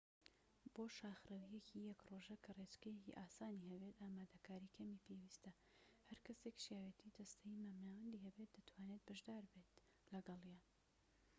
بۆ شاخڕەویەکی یەك ڕۆژە کە ڕێچکەیەکی ئاسانی هەبێت ئامادەکاریی کەمی پێویستە هەرکەسێك شیاوێتی جەستەیی مامناوەندی هەبێت دەتوانێت بەشداربێت لەگەڵیان